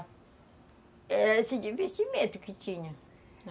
Era esse desvestimento que tinha.